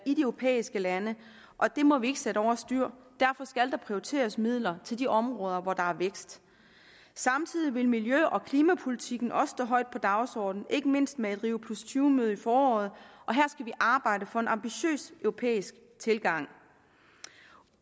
i de europæiske lande og det må vi ikke sætte over styr derfor skal der prioriteres midler til de områder hvor der er vækst samtidig vil miljø og klimapolitikken også stå højt på dagsordenen ikke mindst med et rio tyve møde i foråret og her skal vi arbejde for en ambitiøs europæisk tilgang